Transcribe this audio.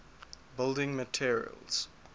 building materials